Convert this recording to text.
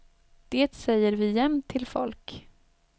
Det säger vi jämt till folk.